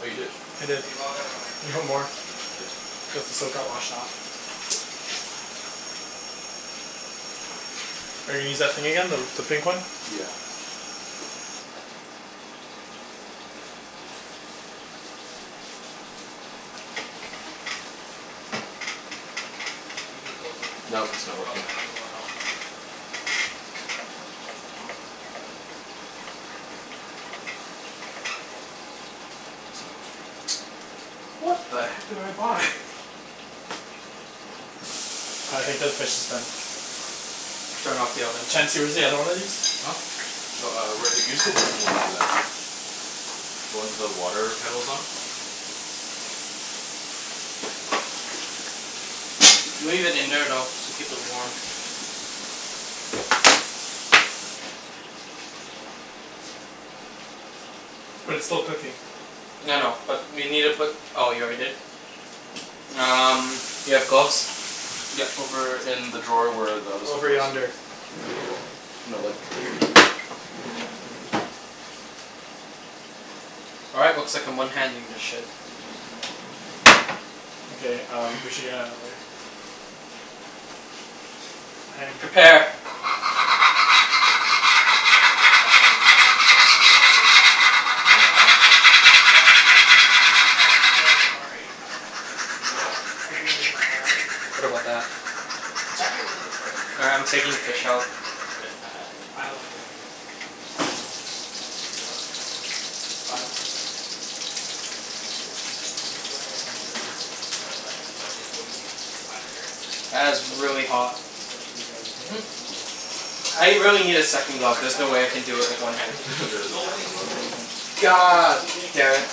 Oh, you did? I did. Can you log outta my You account have more. please? Yeah, sure. Yeah. Cuz the soap got washed off. Are you gonna use that thing again? The the pink one? Yeah. This one, You can too? close it. No, it's not It'll working. automatically log out. What the heck did I buy? I think this fish is done. Turn off the oven. Chancey, where's the other one of these? Huh? Oh, uh, right here. Use the wooden one over there. The one the water kettle's on. Leave it in there, though, to keep it warm. But it's still cooking. I know. But you need to put, oh, you already did? Um, you have gloves? Yeah, over in the drawer where the other stuff Over was. yonder. No, like here. All right, looks like I'm one-handing this ship. Okay um, we should get outta the way. Prepare. Cha- I'm kinda rereading the Game of Thrones spoilers. Can you not? No, I'm I'm reading them to myself. Oh, Don't okay. worry. Like, I'm not reading them to you. I thought you were gonna read them out loud. What about that? It's What's up? actually a really good story this All season. right, I'm taking the fish out. But it's kinda I don't like new season. It's about to get better. I don't like her right now. Why? Cuz she's she's going away from her character. Like, what i- what do you think defines her character? That is She's supposed to be like really John hot. Snow. She's supposed to be very good Mhm. and humble, and stuff. I really need a Y- second you glove. There's understand no like way I her can do it with scenario one right? hand. Like, There there's She isn't no a has no way second glove. scenario. No, cuz God she's being a damn it. hypocrite.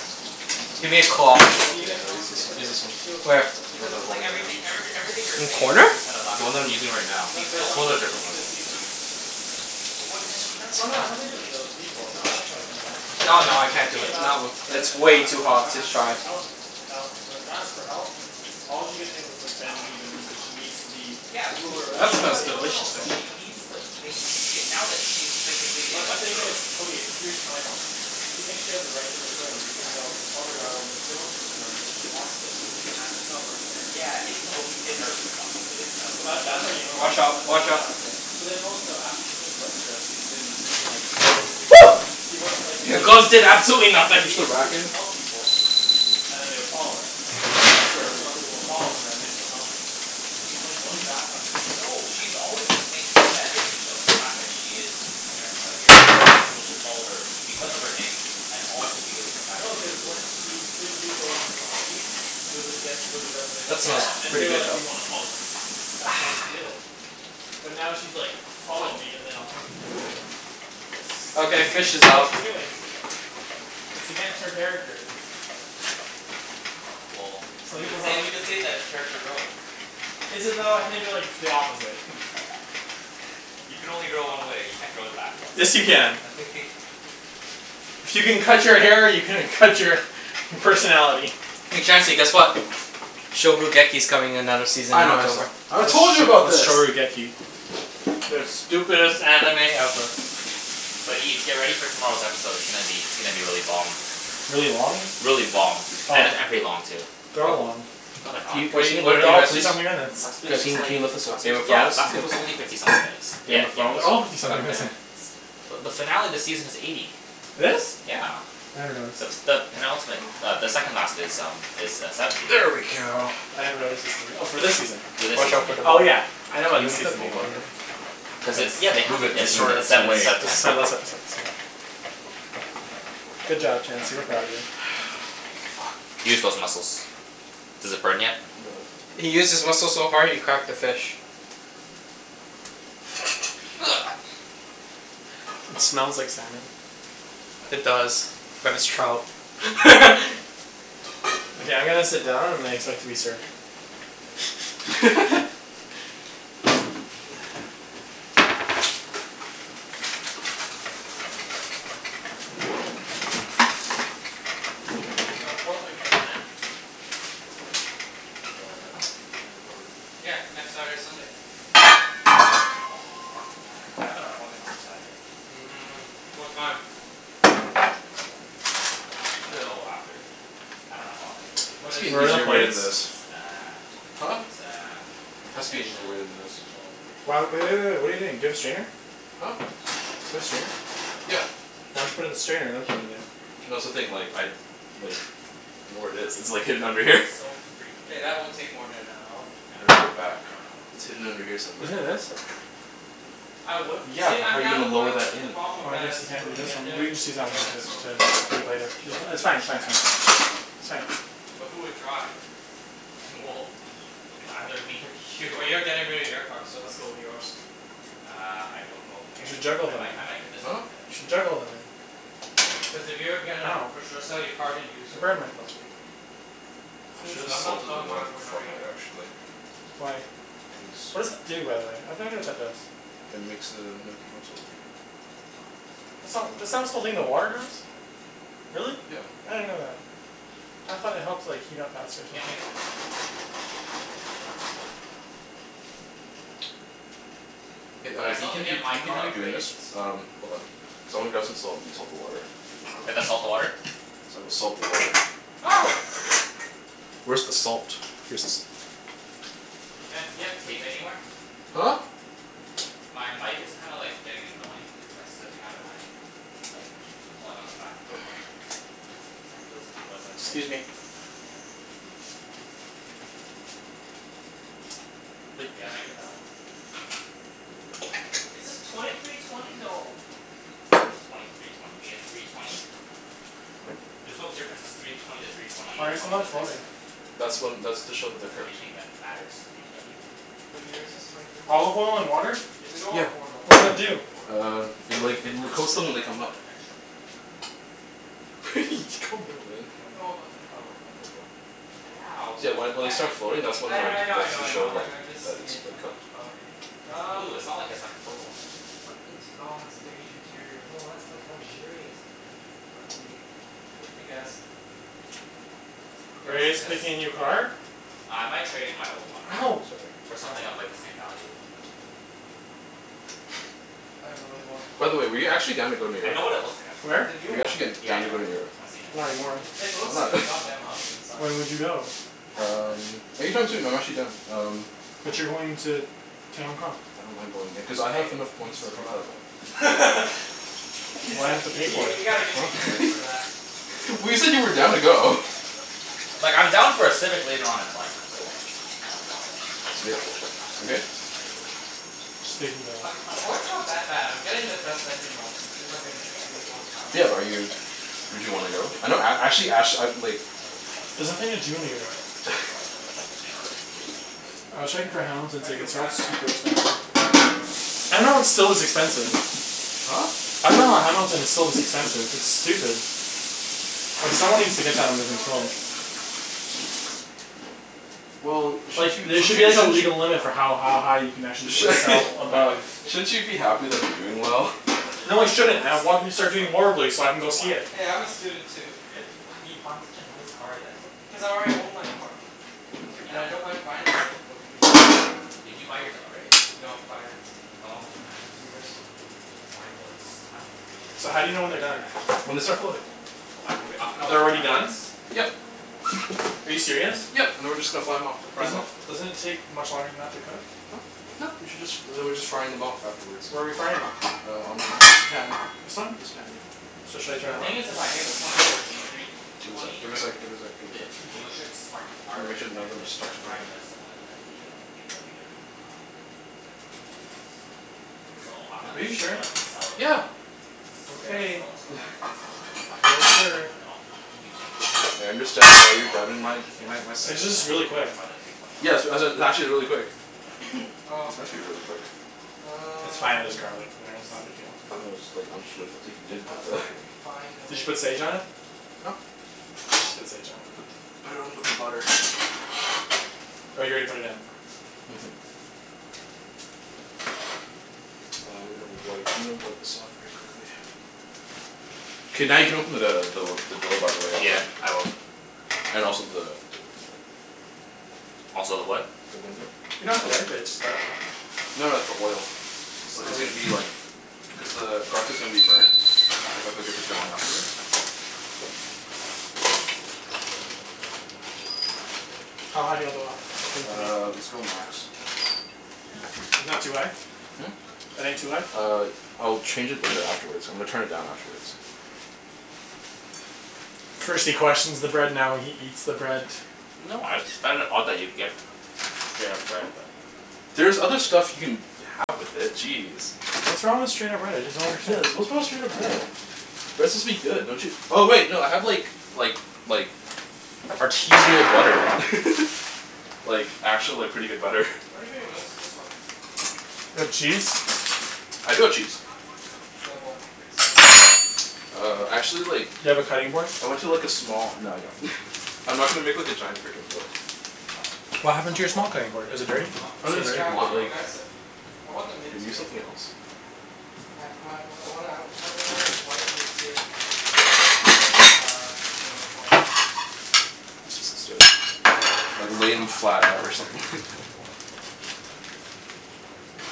Give me a cloth. She's being Yeah, a I use constant this w- use hypocrite this but one. she wasn't like Where? this when she The was one Becau- that I'm in like, holding right now. everythi- every everything you're In saying is just corner? based out of last The one that I'm episode. using right now. No, it's based I'll Because off she pull out a of killed wh- those different this one. this people. season. It's based off this season. But what has she done Oh this no, it's nothing to do season? with those people. No, I don't care No, no, I'm I can't do talking it. Not about w- When it's uh way John, too when John hot to asked her to try. help hel- when John asks for help all she could think of was like, bend the knee, bend the My knee, cuz she god. needs to be Yeah. ruler of the That seven smells Because, no no no, delicious kingdoms. but though. she needs to maintai- Okay, now that she is physically in But the thing Westeros is, okay, here's my problem. Okay. She thinks she has the right to the throne Yeah. even though her father got overthrown from the throne. So she lost it. She doesn't ha- she's not the rightful heir Yeah, anymore. yeah, well, in her mind obviously it kinda So, works a that little that's already differently. gone. Watch So out. that, there's Watch that out. right there. But then also, after she came to Westeros she's been being like Woo! she doesn't like, Your like in the gloves did East absolutely in the nothing! Push the East, she would rack just in. help people. And then they would follow her. Now in Westeros, she wants people to follow her and then she'll help them. She's like, going back on who she is. No. She's always maintained that image of the fact that she is Daenerys Targaryen, and that people should follow her because of her name, and also because of the fact that No, she's a cuz when ruler. she freed the people in in the East she was like, you guys can go do whatever they That you smells Yeah. want. And pretty they're good like, "We though. wanna follow you." That's Ah. how she did it. But now she's like "Follow Fuck. me and then I'll help you." It's s- what Okay, she's doing. fish is It's what out. she's doing. It's against her character. Well, Some we people could call say, that we could say that it's character growth. Is it though? I think that it's the opposite. You can only grow one way. You can't grow backwards. Yes, you can. No, you can't. If you can cut your hair you can cut your personality. Hey Chancey, guess what? coming another season I in know, I saw. October. I told you about this! The stupidest anime ever. But Ibs, get ready for tomorrow's episode. It's gonna be, it's gonna be really bomb. Really long? Really bomb. Oh And a yeah. and pretty long, too. They're A- all long. No they're not. Can you, What guys, a- can you what are lift They're you that all guys up fifty please? something minutes. Last week's Guys, can was you can like, you lift this up? last Game of week's, yeah, Thrones? last week was only fifty something minutes. Yeah, Game of Game of Thrones? They're Game all of Thrones. fifty God something damn. missants. But the finale of the season is eighty. It is? Yeah. I never noticed. The s- the penultimate uh, the second last is um is uh, seventy. There we go. I never noticed her singing. Oh, for this season? For this Watch season, out for the yeah. Oh bowl. yeah, I know Can about you this move that season bowl, being by the longer. way? Cuz Cuz it's it's, yeah, they have, Move it, it's it's like, it's move sev- shorter it it's seven away. instead Cuz of ten. it's their last episode, Yeah. so Good job, Chancey. We're proud of you. Fuck. Use those muscles. Does it burn yet? No. He used his muscles so hard he cracked the fish. It smells like salmon. It No. does. But it's trout. Okay, I'm gonna sit down and I expect to be served. Yo, Portland trip, man. When? The s- the weekend before we leave? Yeah. Next Saturday, Sunday. Oh, I don't know, man. I k- I have an appointment on the Saturday. Mm. What time? Ten fifteen in the morning. Unless we Till? go after. I dunno how long it's gonna take. There What must is be it, an Where are though? the easier way than plates? this. It's uh Huh? it's uh Has to be an easier way potential than this. potential Why w- laser w- hair w- wait, wait. surgery. What are you doing? Do you have a strainer? Huh? Do you have a strainer? Cuz, Yeah. it's Why don't you put it freaking, in the strainer and then put it in there? shaving's freaking No, that's the annoying, thing, like man. I like don't know where it is. It's like, hidden under here. It's so freaking K, that annoying. won't take more than an hour. I I'm don't I gonna put don't it know. back. I don't know how long it's It's gonna hidden take. under here Isn't it somewhere. this? I would Yeah, say but I'm how are you down to gonna go lower after, that but the in? problem Oh, with I that is guess you can't when do we this get one? We there, can just use the that one Nike to d- store's probably to all do it closed later. and Ju- shit. We it's can fine, it's fine, it's check. fine. It's fine. But who would drive? Well, it's either me or Well, you. you're getting rid of your car, so let's go with yours. Uh, I don't know if I'm You getting should rid of it. juggle I might them. I might get this one. Huh? Here, let me You show should you. juggle them in. Cuz if you're gonna Ow. for sure sell your car, then use I yours burned myself. obviously. I should Cuz have I'm not salted the selling mine water for another beforehand, year. actually. Why? Cuz What does it do, by the way? what that does. It makes the gnocchi more salty. Nope, not this one. This It's is the not one I already showed you. But this one's sold already. Really? Yeah. I didn't know that. I thought it helped like, heat up faster or Yeah, I might something. get this one. Hey, But uh I can still you have to continu- get my can you car continue doing appraised. this? Um, hold on. Cuz I wanna grab some salt and salt the water. We have to salt the water? Cuz I will salt the water. Ah! Where's the salt? Here's the salt. Chancey, do you have tape anywhere? Huh? My mic is kinda like, getting annoying cuz it's like, slipping outta my like, it keeps pulling on the back of my head. Kinda feels like what it's like to get, Excuse me. have hair. Yeah, I might get that one. It says twenty three twenty, though. What do you mean twenty three twenty? You mean a three twenty? There's no difference three twenty to three twenty Why eight, are as long some as it of has them floating? xDrive. That's when, that's That to show that they're that's the main cooked. thing that matters to BMW. What year is this? Twenty fourteen? Olive oil in Yeah. water? It's Two the door or Yeah. four door? What does that Uh, do? four door. Uh, The it like, is the it l- first coats them when edition they of come the up. xDrive. Calm down, man. I don't know about the color though. Careful. Yeah, See that well, when you when they can't be start floating, picky if that's you're I when kn- buying like, I know I a that's know to used I show know, car. like, I'm just that it's like, about cooked. the color. It's blue. Um It's not like it's like purple or something. What int- ah, it's beige interior. Yo, that's like luxurious, man. But eh, I guess. You Are wanna you see guys this? picking a new car? What? Uh, I might trade in my old one. Ow! Sorry. For Yo. something of like, the same value. What? I really T- oh my want By the way, were you god, actually down to go New I York? know what it looks like. I've seen it. The Where? new Were you one. actually g- Yeah, I down to know, go I to New know, I York? know. I've seen it. Not anymore. It it Why looks like a not? f- god damn Audi inside. When would you go? Yeah, but Um, anytime soon. I'm actually done. It's a Um s- it's a But you're Honda. going to I mean it's a to Hong Kong. I don't mind going there. Cuz I have Hey, enough points means for it's a free flight. reliable. Why do He's I like, have to y- pay for you it? gotta give me Huh? credits for that. Mm, but Well it's you a said you were Honda. down to go. Like, I'm down for a Civic later on in life, but I kinda want to, you Yeah. know, drive You a good? fast car right now. Just taking the Ac- Accord's not that bad. I'm getting the best engine option. Two hundred and sixty eight horsepower. Yeah, bu- are you would you wanna go? I know a- actually ash I like There's nothing to do in New York. I'm gonna drink more of your cocoa. Go I was right checking ahead. for Hamilton I feel tickets and bad for that's not super getting you any. expensive. Nah, it's all good. expensive. Huh? I dunno Hamilton is so expensive. It's stupid. Like, someone needs to get that under What about control. this? A Well, sh- four? sh- Like, there sh- sh- should be as Well, a it's shouldn't you legal it's limit for beyond my how budget. ha- high you can actually sh- sell My above budget's shouldn't fifty. you be happy that they're doing Well, my well? budget No, I right now shouldn't. as I a want him to student is start doing like, horribly so I can go see it. twenty. Hey, I'm a student too. Why are you buying such a nice car then? Because I already own my car. And Yeah, I don't w- mind financing it for a few years. Did you buy yours outright? No. Financed. How long was your finance? Two years. Mine was mine was three years. So, I'm how do you know a when I'm they're a year and done? a half in right When they now. start floating. But I B- can re- I can u- always they're already done? refinance. Yep. Are you serious? Yep, and then we're just gonna fly 'em off. Fry 'em Doesn't off. it doesn't it take much longer than that to cook? Huh? No, you should just, and then we're just frying them off afterward. Where are we frying it? Uh, on this pan. This one? This pan, yeah. So, should I turn The thing it is, on? if I get the twenty thirteen three Give it a sec, twenty give it a sec, give it a sec, give the it a sec. two dealerships are c- Just wanna aren't make sure none of them are connected. stuck Like Brian together. Jessel and then the um, BMW in uh, Langley was it, or something like that. So, I might Are have you to Okay, yeah. straight sure? up sell it to Yeah. them. Straight up Okay. sell it to the one, s- sell it to the guys in You're Langley. sure. And then I'll continue paying the financing. I understand why But then you're I'll doubting pretty my much just get a my my l- s- like, It's just I'll really pretty quick. much buy the three twenty Yeah, outright sw- for a like, it's actually two really thousand quick. or something like that. Oh, It's okay. meant to be really quick. It's fine. There's Um garlic in there. We'll It's not a big see. deal. No, it's like, I'm just worried that Shoot. like, you didn't How put do the I refine the Did you put sage location? on it? Huh? You should put sage on it. I put put it on with the butter. Oh, you already put it in? Mhm. Uh, I'm gonna wipe, I'm gonna wipe this off very quickly. K, now you can open the the the door, by the way, Yeah, Alvin. I will. And also the the the Also the what? the window. You don't Oh. have to wipe it. It's just garlic. No no, it's the oil. It's li- Oh, it's gonna really? be like cuz the garlic is gonna be burnt. If I cook it for too long afterwards. How high do you want the l- the thing to be? Uh, let's go max. Isn't that too high? Hmm? That ain't too high? Uh, I'll change it later afterwards. I'm gonna turn it down afterwards. First he questions the bread, now he eats the bread. No, I just find it odd that you would get straight up bread, but There's other stuff you can have with it. Jeez. What's wrong with straight up bread? I just don't Yeah, understand. what's wrong with straight up bread? Bread's Mmm. supposed to be good, don't you Oh wait, no, I have like like like artisanal butter. Like, actual like, pretty good butter. What do you think of this this one? You have cheese? I do have cheese. Demo. Ex demo. Uh, actually like Do you have a cutting board? I Yeah went man, to I like a was trying small, to no I don't. I'm not gonna make like a giant frickin' board. But, What it's Is happened it to comf- your it's small com- quattro? cutting board? is Is it, it dirty? it's comfort. Oh no, Still Yeah, it's the, dirty? Yeah, I dirty, want but like yeah. progressive. I want the mid Can you use tier. something else? I my w- the one I w- have in mind is white, mid tier lots of progressive uh, two point oh quattro. Use this instead. Like, I lay dunno. 'em I'm not flat even out or considering something like A that. four or like, a bri- like, semi decent A four at this point.